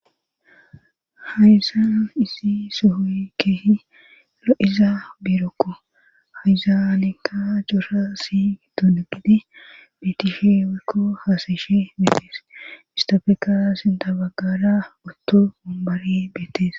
Hayzaan izi sohoy kehi 'izaa birokko hayzaaneka jora si duunugidi betishewekko haasishe beetees istofeka sindabagara otto mumbari beetees.